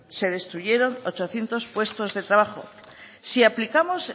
se destruyeron ochocientos puestos de trabajo si aplicamos